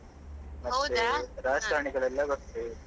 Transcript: ಮತ್ತೆ ರಾಜಕಾರಣಿಗಳೆಲ್ಲ ಬರ್ತಾರೆ.